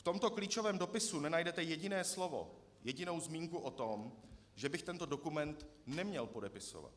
V tomto klíčovém dopise nenajdete jediné slovo, jedinou zmínku o tom, že bych tento dokument neměl podepisovat.